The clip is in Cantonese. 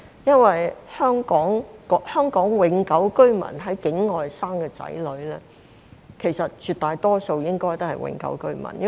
因為香港永久性居民在境外所生的子女，絕大多數也屬於永久性居民。